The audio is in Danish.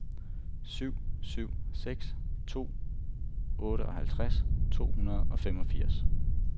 syv syv seks to otteoghalvtreds to hundrede og femogfirs